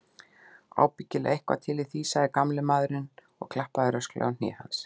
Ábyggilega eitthvað til í því, sagði gamli maðurinn og klappaði rösklega á hné hans.